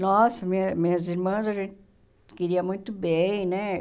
Nossa, minha minhas irmãs a gente queria muito bem, né?